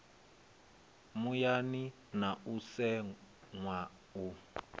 muyani na u seṅwa u